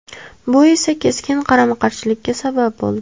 Bu esa keskin qarama-qarshilikka sabab bo‘ldi.